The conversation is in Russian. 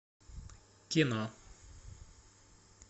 кино